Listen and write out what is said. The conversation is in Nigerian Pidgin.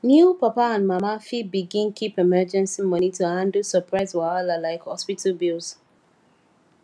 new papa and mama fit begin keep emergency money to handle surprise wahala like hospital bills